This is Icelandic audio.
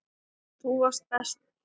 Þú varst best.